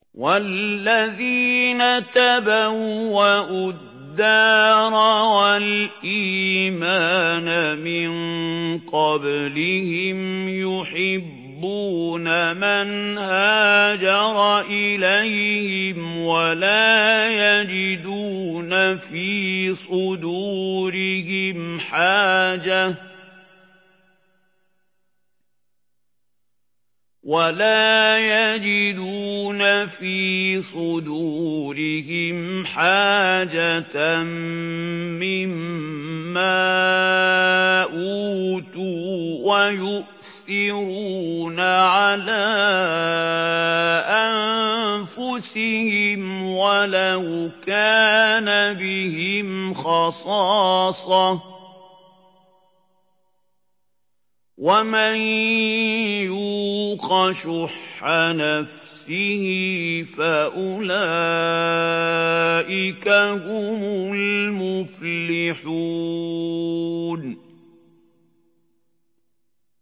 وَالَّذِينَ تَبَوَّءُوا الدَّارَ وَالْإِيمَانَ مِن قَبْلِهِمْ يُحِبُّونَ مَنْ هَاجَرَ إِلَيْهِمْ وَلَا يَجِدُونَ فِي صُدُورِهِمْ حَاجَةً مِّمَّا أُوتُوا وَيُؤْثِرُونَ عَلَىٰ أَنفُسِهِمْ وَلَوْ كَانَ بِهِمْ خَصَاصَةٌ ۚ وَمَن يُوقَ شُحَّ نَفْسِهِ فَأُولَٰئِكَ هُمُ الْمُفْلِحُونَ